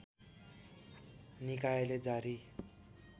निकायले जारी